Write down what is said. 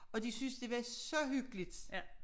Og de synes det var så hyggeligt